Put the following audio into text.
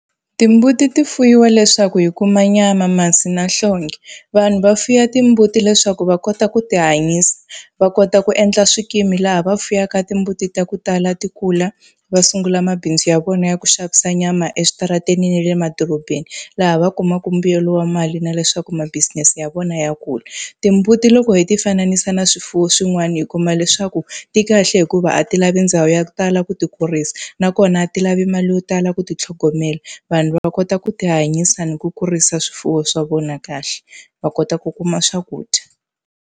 Timbuti ti fuyiwa leswaku hi kuma nyama, masi na nhlonge. Vanhu va fuwa timbuti leswaku va kota ku ti hanyisa, va kota ku endla swikimi laha va fuwaka timbuti ta ku tala ti kula va sungula mabindzu ya vona ya ku xavisa nyama eswitarateni na le madorobeni. Laha va kumaka mbuyelo wa mali na leswaku ma business ya vona ya kula. Timbuti loko hi ti fanisa na swifuwo swin'wana hi kuma leswaku, ti kahle hikuva a ti lavi ndhawu ya ku tala ku ti kurisa. Nakona a ti lavi mali yo tala ku ti tlhogomela, vanhu va va kota ku ti hanyisa ni ku kurisa swifuwo swa vona kahle, va kota ku kuma swakudya.